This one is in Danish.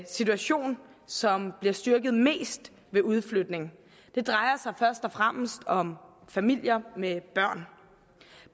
situation som bliver styrket mest ved udflytning det drejer sig først og fremmest om familier med børn